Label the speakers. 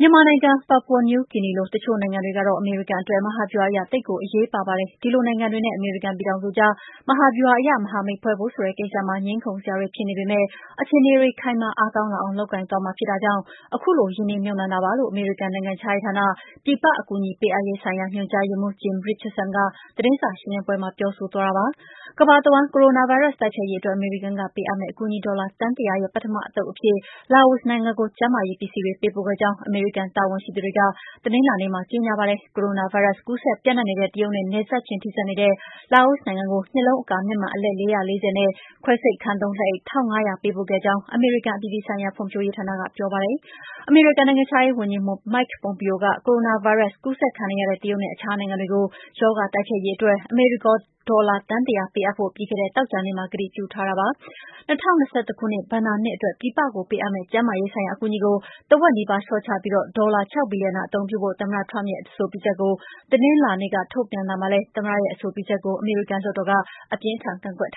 Speaker 1: မ
Speaker 2: ြန်မာနိုင်ငံ၊ Papua New Guinea လို တချို့နိုင်ငံတွေကတော့ အမေရိကန်အတွက် မဟာဗျူဟာအရ သိပ်ကို အရေးပါပါတယ်။ ဒီလို နိုင်ငံတွေနဲ့ အမေရိကန်ပြည်ထောင်စုကြား မဟာဗျူဟာအရ မဟာမိတ်ဖွဲ့ဖို့ဆိုတဲ့ကိစ္စမှာ ငြင်းခုံစရာတွေ ဖြစ်နေပေမဲ့ အခြေအနေတွေခိုင်မာ အားကောင်းလာအောင် လုပ်ကိုင်သွားမှာဖြစ်တဲ့အတွက် ခုလိုရင်းနှီးမြှုပ်နှံရတာပါလို့ အမေရိကန်နိုင်ငံခြားရေးဌာန၊ ပြည်ပ အကူအညီပေးအပ်ရေးဆိုင်ရာ ညွှန်ကြားရေးမှူး Jim Richardson က သတင်းစာရှင်းလင်းပွဲမှာ ပြောဆိုသွားတာပါ။ ကမ္ဘာတဝှမ်း ကိုရိုနာဗိုင်းရပ်စ် တိုက်ဖျက်ရေးအတွက် အမေရိကန်ကပေးအပ်မယ့် အကူအညီ ဒေါ်လာ သန်း ၁၀၀ ရဲ့ပထမသုတ်အဖြစ် လာအိုနိုင်ငံကို ကျန်းမာရေးပစ္စည်းတွေ ပေးပို့ခဲ့ကြောင်း အမေရိကန် တာဝန်ရှိသူတွေက တနင်္လာနေ့က ကြေငြာပါတယ်။ ကိုရိုနာဗိုင်းရပ်စ် ကူးစက်ပျံ့နှံ့နေတဲ့ တရုတ်နဲ့ နယ်စပ်ချင်း ထိစပ်နေတဲ့ လာအိုနိုင်ငံကို မျက်လုံးအကာ မျက်မှန်အလက် ၄၄၀၊ ခွဲစိတ်ခန်းသုံးလက်အိတ် ၁,၅၀၀ ပေးပို့ခဲ့ကြောင်း အမေရိကန် အပြည်ပြည်ဆိုင်ရာ ဖွံံဖြိူးရေးဌာနက ပြောပါတယ်။ အမေရိကန်နိုင်ငံခြားရေးဝန်ကြီး မိုက်ပွန်ပီယိုက ကိုရိုနာ ဗိုင်းရပ်စ်ကူးစက်ခံနေရတဲ့ တရုတ်နဲ့ အခြားနိုင်ငံတွေကို ရောဂါ တိုက်ဖျက်ရေးအတွက် အမေရိကန်ဒေါ်လာ သန်း ၁၀၀ ပေးအပ်ဖို့ ပြီးခဲ့တဲ့ သောကြာနေ့က ကတိပြုထားတာပါ။ ၂၀၂၁ ဘဏ္ဍာနှစ်အတွက် ပြည်ပကိုပေးအပ်မယ့် ကျန်းမာရေးဆိုင်ရာ အကူအညီကို ထက်ဝက်နီးပါးလျှော့ချပြီး ဒေါ်လာ ၆ ဘီလျံယံသာ အသုံးပြုဖို့ သမ္မတ Trump ရဲ့ အဆိုပြုချက်ကို တနင်္လာနေ့က ထုတ်ပြန်လိုက်တာပါ။ သမ္မတရဲ့အဆိုပြုချက်ကို အမေရိကန်လွှတ်တော်က အပြင်းအထန်ကန့်ကွက်ထာ